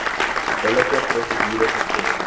billike prosedure gevolg